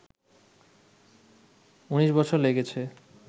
১৯ বছর লেগেছে